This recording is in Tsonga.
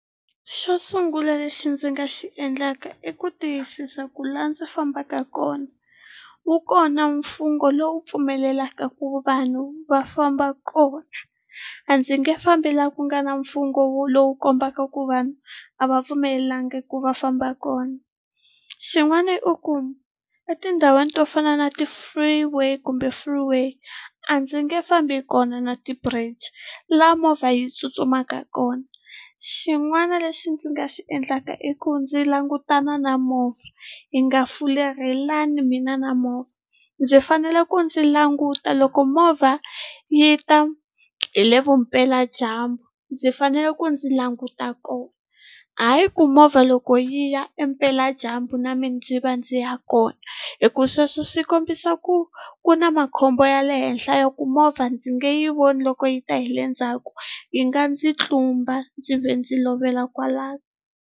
Xo sungula lexi ndzi nga xi endlaka i ku tiyisisa ku laha ndzi fambaka kona wu kona mfungho lowu pfumelelaka ku vanhu va famba kona a ndzi nge fambi laha ku nga na mfungho wo lowu kombaka ku vanhu a va pfumeleliwangi ku va famba kona xin'wana i ku etindhawini to fana na ti-free way kumbe free way a ndzi nge fambi kona na ti-bridge la movha yi tsutsumaka kona xin'wana lexi ndzi nga xi endlaka i ku ndzi langutana na movha hi nga fulerhelani mina na movha ndzi fanele ku ndzi languta loko movha yi ta hi le vupeladyambu ndzi fanele ku ndzi languta kona hayi ku movha loko yi ya impela dyambu na mina ndzi va ndzi ya kona hi ku sweswo swi kombisa ku ku na makhombo ya le henhla ya ku movha ndzi nge yi voni loko yi ta hi le ndzhaku yi nga ndzi tlumba ndzi ve ndzi lovela kwalano.